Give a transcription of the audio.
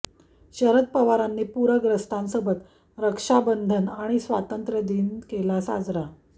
शरद पवारांनी पूरग्रस्तांसोबत रक्षाबंधन आणि स्वातंत्र्य दिन केला साजरा